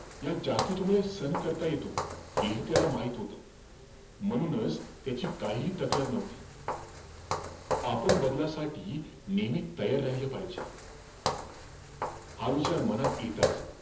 या jacket मुळेचं सहन करता येतो, हेही त्याला माहित होतं. म्हणूनचं, त्याची काहीही तक्रार नव्हती. आपण बदलासाठी नेहमी तयार राहील पाहिजे. हा विचार मनात येताचं,